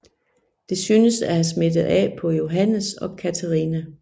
Det synes at have smittet af på Johannes og Catherina